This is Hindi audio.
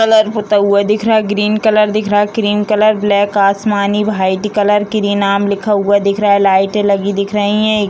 कलर पूता हुआ दिख रहा है ग्रीन कलर दिख रहा है क्रीम कलर ब्लैक आसमानी व्हाइट कलर कृ नाम लिखा हुआ दिख रहा है लाइटें लगी दिख रही हैं।